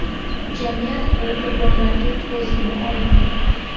Jamiyat bu qurbonlarga ko‘z yuma olmaydi.